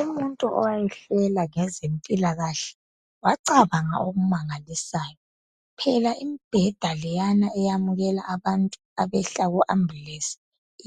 Umuntu owayehlela ngezempilakahle wacabanga okumangalisayo phela imibheda leyana eyamukela abantu abehla ku ambulensi